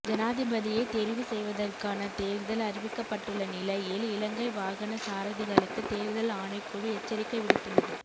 ஜனாதிபதியை தெரிவு செய்வதற்கான தேர்தல் அறிவிக்கப்பட்டுள்ள நிலையில் இலங்கை வாகன சாரதிகளுக்கு தேர்தல் ஆணைக்குழு எச்சரிக்கை விடுத்துள்ளது